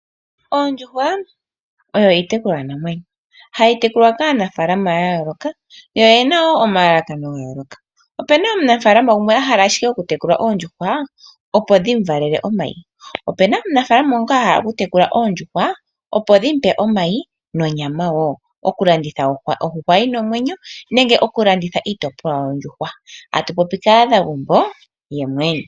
Oondjuhwa oyo iitekulwa namwenyo, hayi tekulwa kaanafaalama yaayooloka yo oye na wo omalalakano gayoloka ope na omunafaalama gumwe ahala ashike okutekula oondjuhwa opo dhimuvalele omayi ope na omunaafalama ngoka ahala okutekula oondjuhwa opo dhimupe omayi nonyama woo okulanditha okwa ondjuhwa yina omwenyo nenge okulanditha onyama yondjuhwa atu popi kaanagumbo yomwene.